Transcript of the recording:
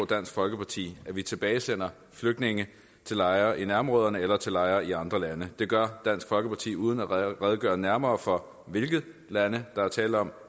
dansk folkeparti at vi tilbagesender flygtninge til lejre i nærområderne eller til lejre i andre lande det gør dansk folkeparti uden at redegøre nærmere for hvilke lande der er tale om